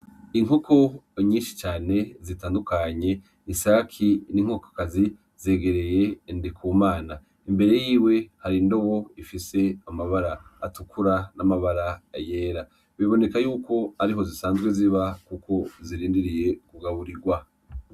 Inkuko nyinshi cane zitandukanye isaki n'inkokokazi zegereye ndi ku mana imbere yiwe hari ndowo ifise amabara atukura n'amabara yera biboneka yuko ari ho zisanzwe ziba, kuko zirindiriye kugawurirwa.